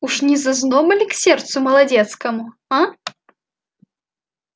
уж не зазноба ли сердцу молодецкому а